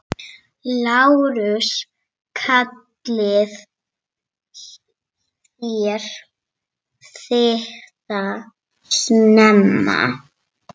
LÁRUS: Kallið þér þetta snemma?